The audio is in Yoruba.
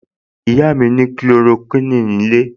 Ìyá mi ní Kulorokíìní nílé